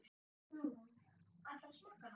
Hugrún: Ætlarðu að smakka hana?